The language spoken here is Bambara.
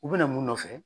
U bɛna mun nɔfɛ